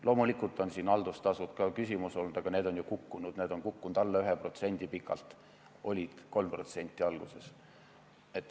Loomulikult on siin haldustasud ka küsimuseks olnud, aga need on ju kukkunud: need on kukkunud alla 1%, alguses olid 3%.